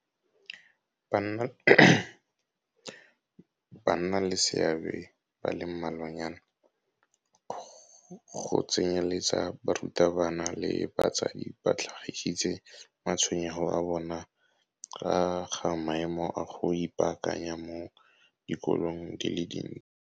Bannaleseabe ba le mmalwanyana, go tsenyeletsa barutabana le batsadi ba tlhagisitse matshwenyego a bona ka ga maemo a go ipaakanya mo dikolong di le dintsi.